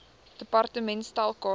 department stel kaarte